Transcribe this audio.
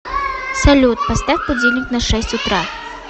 салют поставь будильник на шесть утра